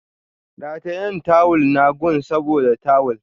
Ratayen tawull na gun saboda tawul